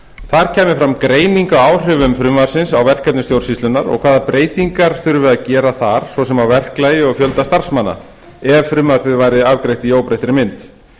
þar kæmi fram greining á áhrifum frumvarpsins á verkefni stjórnsýslunnar og hvaða breytingar þurfi að gera þar svo sem á verklagi og fjölda starfsmanna ef frumvarpið væri afgreitt í óbreyttri mynd